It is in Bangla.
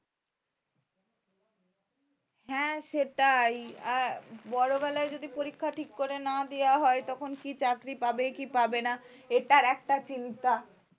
হ্যাঁ সেটাই আর বড় বেলায় যদি পরীক্ষা ঠিক করে না দেওয়া হয় তখন কী চাকরি পাবে কি পাবে না এটার একটা চিন্তা